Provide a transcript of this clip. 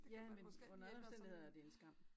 Ja men under alle omstændigheder er det en skam